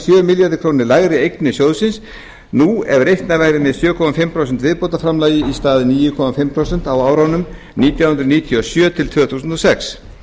sjö milljörðum króna lægri eignir sjóðsins nú ef reiknað væri með sjö og hálft prósent viðbótarframlagi í stað níu og hálft prósent á árunum nítján hundruð níutíu og sjö til tvö þúsund og sex